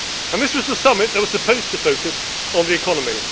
This was the summit that was supposed to focus on the economy.